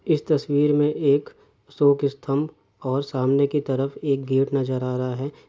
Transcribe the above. इस तस्वीर मैं एक अशोल स्तंभ और सामने की तरफ एक गेट नज़र आ रहा है।